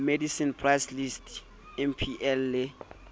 medicine price list mpl le